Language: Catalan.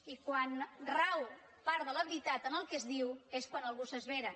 i quan rau part de la veritat en el que es diu és quan algú s’esvera